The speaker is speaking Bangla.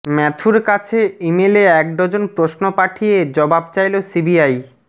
ম্যাথুর কাছে ইমেলে একডজন প্রশ্ন পাঠিয়ে জবাব চাইল সিবিআই